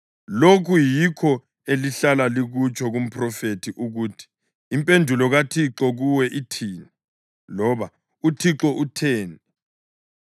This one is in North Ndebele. Lokhu yikho elihlala likutsho kumphrofethi ukuthi, ‘Impendulo kaThixo kuwe ithini?’ loba ‘UThixo utheni?’